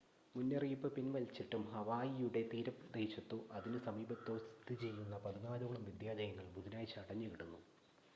മുന്നറിയിപ്പ് പിൻവലിച്ചിട്ടും ഹവായിയുടെ തീരദേശത്തോ അതിനു സമീപത്തോ സ്ഥിതിചെയ്യുന്ന പതിനാലോളം വിദ്യാലയങ്ങൾ ബുധനാഴ്ച അടഞ്ഞുകിടന്നു